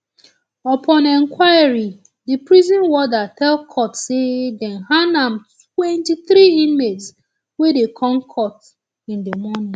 upon inquiry di prison warder tell court say dem hand am twenty-three inmates wey dey come court in di morning